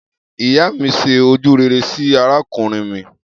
Iya mi se ojurere si arakunrin mi